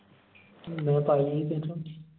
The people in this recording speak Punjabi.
ਮੈਂ ਪਾਈ ਹੀ